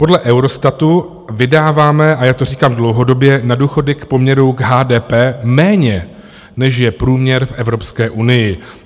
Podle Eurostatu vydáváme, a já to říkám dlouhodobě, na důchody v poměru k HDP méně, než je průměr v Evropské unii.